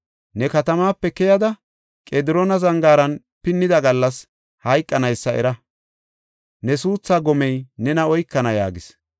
Ne katamaape keyada, Qediroona Zangaara pinnida gallas hayqanaysa era. Ne suuthaa gomey nena oykana” yaagis.